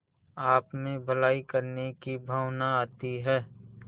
आपमें भलाई करने की भावना आती है